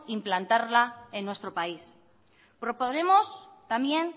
implantarla en nuestro país proponemos también